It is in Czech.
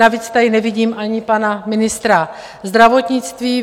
Navíc tady nevidím ani pana ministra zdravotnictví.